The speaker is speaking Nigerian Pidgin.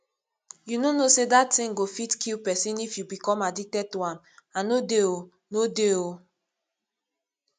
you no know say dat thing go fit kill person if you become addicted to am i no dey oo no dey oo